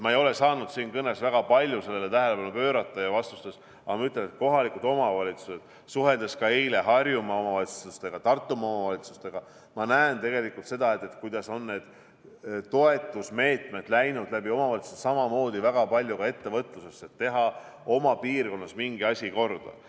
Ma ei ole saanud siin kõnes ja vastustes väga palju sellele tähelepanu pöörata, aga ma ütlen – suheldes ka eile Harjumaa ja Tartumaa omavalitsustega –, et ma näen tegelikult seda, kuidas need toetusmeetmed on läinud läbi omavalitsuste väga palju ka ettevõtlusesse, et teha oma piirkonnas mingi asi korda.